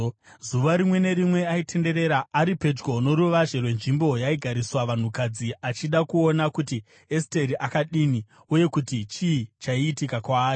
Zuva rimwe nerimwe aitenderera ari pedyo noruvazhe rwenzvimbo yaigariswa vanhukadzi achida kuona kuti Esteri akadini uye kuti chii chaiitika kwaari.